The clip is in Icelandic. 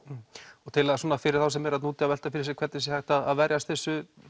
fyrir þá sem eru þara úti að velta fyrir sér hvernig er hægt að verjast þessu